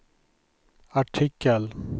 artikel